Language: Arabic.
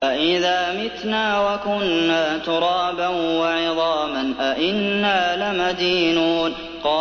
أَإِذَا مِتْنَا وَكُنَّا تُرَابًا وَعِظَامًا أَإِنَّا لَمَدِينُونَ